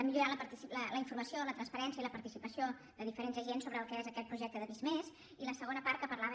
millorar la informació la transparència i la participació de diferents agents sobre el que és aquest projecte de visc+ i la segona part que parlava